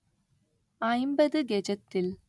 ஐம்பது கெஜத்தில்